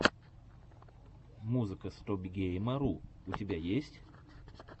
музыка стопгейма ру у тебя есть